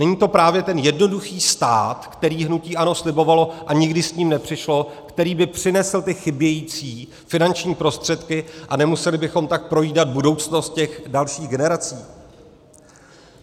Není to právě ten jednoduchý stát, který hnutí ANO slibovalo, a nikdy s ním nepřišlo, který by přinesl ty chybějící finanční prostředky, a nemuseli bychom tak projídat budoucnost těch dalších generací?